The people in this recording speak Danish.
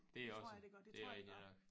Det tror jeg det gør det tror jeg det gør